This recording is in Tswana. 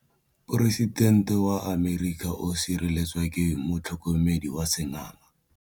Poresitêntê wa Amerika o sireletswa ke motlhokomedi wa sengaga.